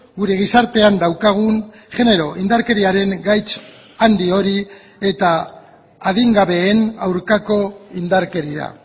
gure gizartean daukagun genero indarkeriaren gaitz handi hori eta adingabeen aurkako indarkeria